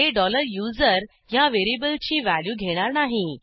हे USER ह्या व्हेरिएबलची व्हॅल्यू घेणार नाही